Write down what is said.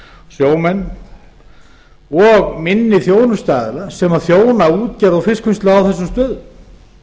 sjómenn og minni þjónustuaðila sem þjóna útgerð og fiskvinnslu á þessum stöðum